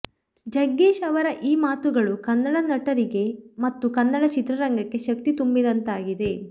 ಜಗ್ಗೇಶ್ ಅವರ ಈ ಮಾತುಗಳು ಕನ್ನಡ ನಟರಿಗೆ ಮತ್ತು ಕನ್ನಡ ಚಿತ್ರರಂಗಕ್ಕೆ ಶಕ್ತಿ ತುಂಬಿದಂತಾಗಿದೆ